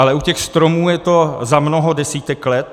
Ale u těch stromů je to za mnoho desítek let.